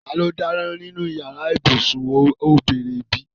Tani ó dáná nínú yàrá ibùsùn? ó béèrè bẹ́ẹ̀.